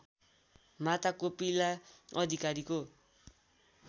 माता कोपिला अधिकारीको